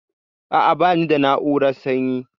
A'a, bani da na'urar sanyi.